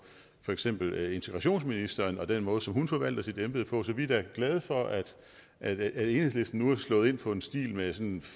for eksempel integrationsministeren og den måde som hun forvalter sit embede på så vi er da glade for at at enhedslisten nu er slået ind på en stil med sådan